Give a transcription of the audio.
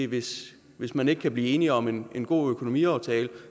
hvis hvis man ikke kan blive enige om en god økonomiaftale